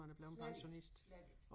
Slet ikke slet ikke